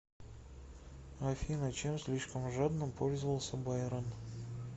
афина чем слишком жадно пользовался байрон